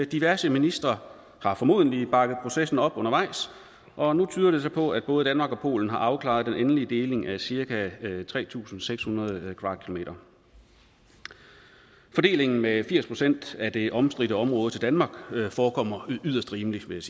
diverse ministre har formodentlig bakket processen op undervejs og nu tyder det så på at både danmark og polen har afklaret den endelige deling er cirka tre tusind seks hundrede km fordelingen med firs procent af det omstridte område til danmark forekommer yderst rimeligt vil